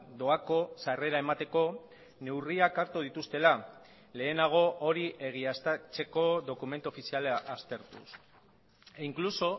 doako sarrera emateko neurriak hartu dituztela lehenago hori egiaztatzeko dokumentu ofiziala aztertuz e incluso